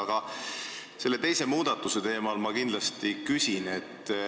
Aga selle teise muudatuse kohta ma kindlasti küsin.